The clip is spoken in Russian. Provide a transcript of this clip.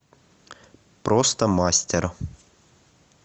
просто мастер